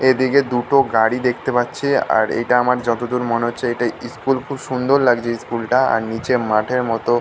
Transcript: এদিকে দুটো গাড়ি দেখতে পারছি। আর এটা আমার যতদূর মনে হচ্ছে এটা স্কুল । খুব সুন্দর লাগছে স্কুল টা আর নিচে মাঠের মতো--